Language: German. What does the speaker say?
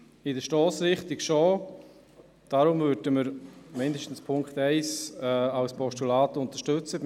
Die Stossrichtung findet Unterstützung, weshalb zumindest der Punkt 1 als Postulat unterstützt wird.